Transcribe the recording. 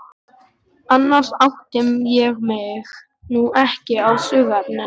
Annars átta ég mig nú ekki á söguefninu.